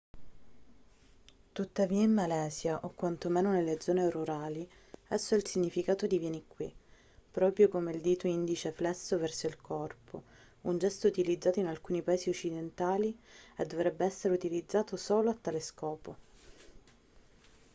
tuttavia in malesia o quanto meno nelle zone rurali esso ha il significato di vieni qui proprio come il dito indice flesso verso il corpo un gesto utilizzato in alcuni paesi occidentali e dovrebbe essere utilizzato solo a tale scopo